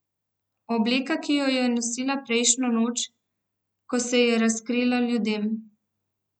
Obleka, ki jo je nosila prejšnjo noč, ko se je razkrila ljudem.